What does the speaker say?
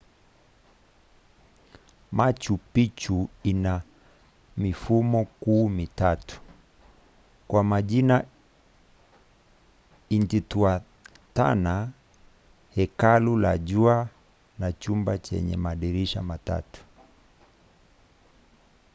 machu picchu ina mifumo kuu mitatu kwa majina intihuatana hekalu la jua na chumba chenye madirisha matatu